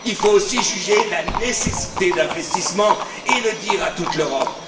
il faut aussi juger la nécessité d'investissements et le dire à toute l'Europe.